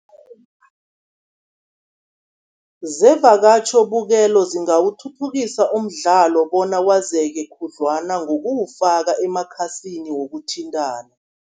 Zevakatjhobukelo zingawuthuthukisa umdlalo bona wazeke khudlwana, ngokuwufaka emakhasini wokuthintana.